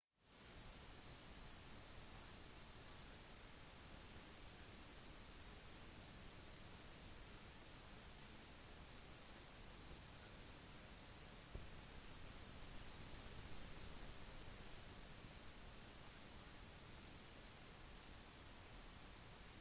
firmaet har lyst til å fordele sine profittkilder samt å oppnå popularitet på steder der skype holder en sterk posisjon som for eksempel i kina øst-europa og brasil